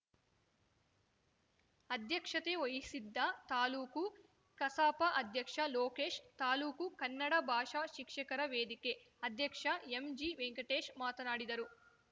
ಅಧ್ಯಕ್ಷತೆ ವಹಿಸಿದ್ದ ತಾಲೂಕು ಕಸಾಪ ಅಧ್ಯಕ್ಷ ಲೋಕೇಶ್‌ ತಾಲೂಕು ಕನ್ನಡ ಭಾಷಾ ಶಿಕ್ಷಕರ ವೇದಿಕೆ ಅಧ್ಯಕ್ಷ ಎಂಜಿ ವೆಂಕಟೇಶ್‌ ಮಾತನಾಡಿದರು